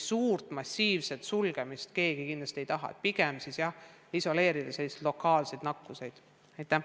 Uut massiivset sulgemist keegi ei taha, nii et pigem püüame isoleerida lokaalse nakkuse koldeid.